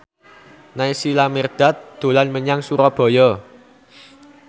Naysila Mirdad dolan menyang Surabaya